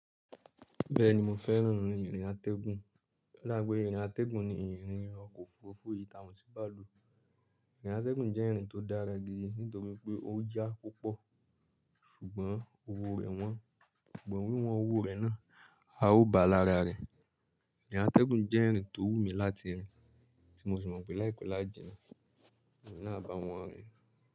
Bẹ́ẹ̀ni mo fẹ́ràn ìrìn atẹ́gùn. Ọ̀dà bí pé ìrìn atẹ́gùn ní ìrìn ọkọ̀ òfurufú ìta ò sí bàálù. Ìrìn atẹ́gùn jẹ́ ìrìn tó dára gidi nítorí pé ó já púpọ̀ ṣùgbọ́n owó rẹ wọ́n, but wí wọn owó rẹ̀ náà a ó bà lára rẹ̀. Ìrìn atẹ́gùn jẹ́ ìrìn tó wú mi láti rìn tí mo sì mọ̀ pé láìpẹ́ lájẹ náà, èmi náà bá wọn rìn.